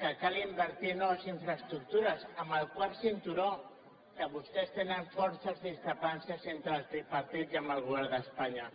que cal invertir en noves infraestructures en el quart cinturó que vostès tenen forces discrepàncies entre el tripartit i amb el govern d’espanya